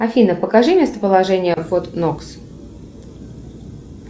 афина покажи местоположение форт нокс